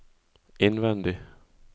innvendig